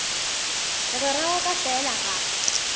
mogwera wa ka fela ga